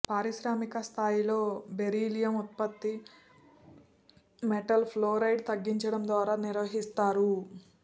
పారిశ్రామిక స్థాయిలో బెరీలియం ఉత్పత్తి మెటల్ ఫ్లోరైడ్ తగ్గించడం ద్వారా నిర్వహిస్తారు